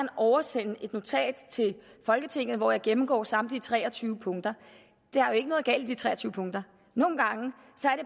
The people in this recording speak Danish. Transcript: oversende et notat til folketinget hvor jeg gennemgår samtlige tre og tyve punkter der er jo ikke noget galt i de tre og tyve punkter nogle gange